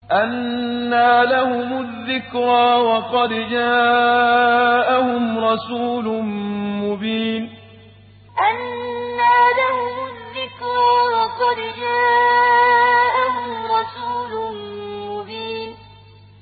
أَنَّىٰ لَهُمُ الذِّكْرَىٰ وَقَدْ جَاءَهُمْ رَسُولٌ مُّبِينٌ أَنَّىٰ لَهُمُ الذِّكْرَىٰ وَقَدْ جَاءَهُمْ رَسُولٌ مُّبِينٌ